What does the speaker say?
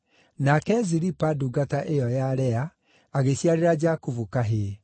Nake Zilipa, ndungata ĩyo ya Lea, ĩgĩciarĩra Jakubu kahĩĩ.